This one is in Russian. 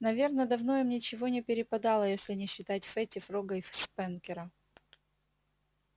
наверно давно им ничего не перепадало если не считать фэтти фрога и спэнкера